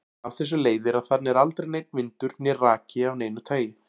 Af þessu leiðir að þarna er aldrei neinn vindur né raki af neinu tagi.